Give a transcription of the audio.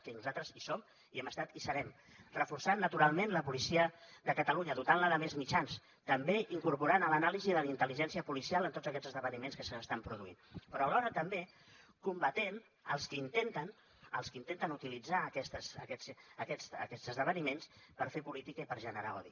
que nosaltres hi som hi hem estat i hi serem reforçant naturalment la policia de catalunya dotant la de més mitjans també incorporant l’anàlisi de la intel·ligència policial en tots aquests esdeveniments que s’estan produint però alhora també combatent els qui intenten utilitzar aquests esdeveniments per fer política i per generar odi